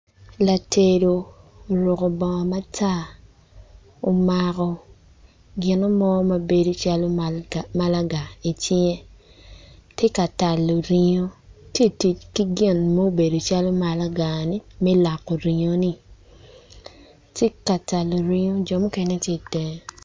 Latedo oruku bongo matar omako ginu mo ma bedo calo malaga icinge ti ka talo ringu titic ki gin mubedo calo malagani mi loko ringoni ci ka talo ringo jo mukene ti itenge